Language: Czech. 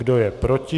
Kdo je proti?